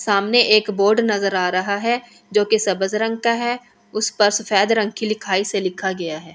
सामने एक बोर्ड नज़र आ रहा है जो कि रंग है उस पर सफ़ेद रंग की लिखाई से लिखा गया है।